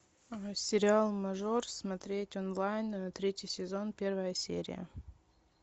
сериал мажор смотреть онлайн третий сезон первая серия